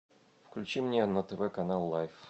включи мне на тв канал лайф